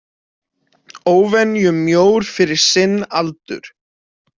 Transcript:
Óvenju mjór fyrir sinn aldur.